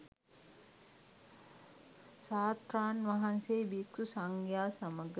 ශාස්තෘන් වහන්සේ භික්‍ෂු සංඝයා සමග